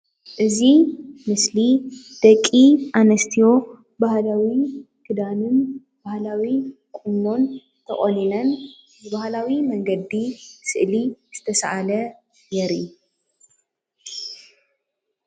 እዚ ምስሊ ደቂ ኣንስትዮ ባህላዊ ክዳንን ባህላዊ ቁኖን ተቆኒነን ብባህላዊ መንገዲ ስእሊ ዝተሰኣለ የርኢ፡፡